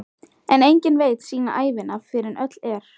En enginn veit sína ævina fyrr en öll er.